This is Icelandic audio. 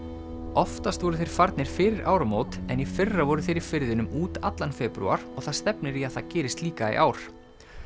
oftast voru þeir farnir fyrir áramót en í fyrra voru þeir í firðinum út allan febrúar og það stefnir í að það gerist líka í ár